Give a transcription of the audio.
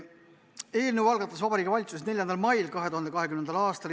Eelnõu algatas Vabariigi Valitsus 4. mail 2020. aastal.